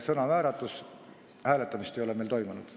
Sõnavääratus, hääletamist ei ole meil toimunud.